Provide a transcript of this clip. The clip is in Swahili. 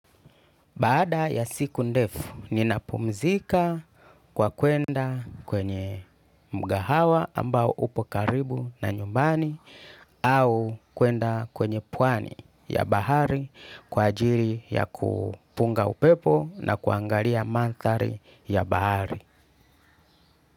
Baada ya siku ndefu, ninapumzika kwa kwenda kwenye mgahawa ambao upo karibu na nyumbani au kwenda kwenye pwani ya bahari kwa ajiri ya kupunga upepo na kuangalia mandhari ya bahari.